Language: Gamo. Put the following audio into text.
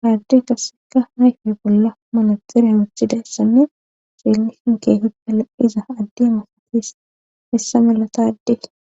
haarde kasseka hayfi bolla malaxira wuchida issanne xeellisinkehippala iza addi masatis essa malatade